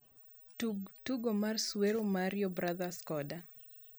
tug tugo mar suoer mario brothers koda